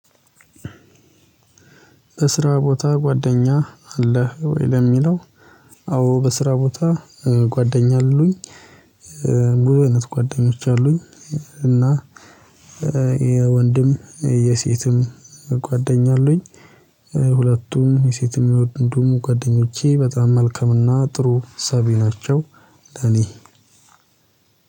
በስራ ቦታ ጓደኛ አለህ ወይ ለሚለው? አዎ በስራ ቦታ ጓደኛ አሉኝ። ብዙ አይነት ጓደኞች አሉኝ። እና የወንድም የሴትም ጓደኛ አሉኝ። ሁለቱም የሴትም የወንዱም ጓደኞቼ በጣም መልካም እና ጥሩ አሳቢ ናቸው። ለኔ